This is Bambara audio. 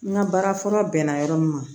N ka baara fɔlɔ bɛnna yɔrɔ min ma